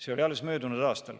See oli alles möödunud aastal.